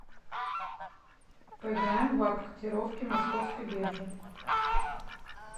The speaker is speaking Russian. поиграем в апп котировки московской биржи